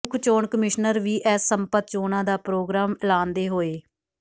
ਮੁੱਖ ਚੋਣ commissioner V S Sampath ਚੋਣਾਂ ਦਾ ਪੋ੍ਰਗਰਾਮ ਐਲਾਨਦੇ ਹੋਏ